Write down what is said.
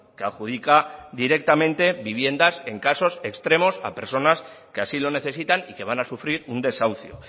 que adjudica directamente viviendas en casos extremos a personas que así lo necesitan y que van a sufrir un desahucio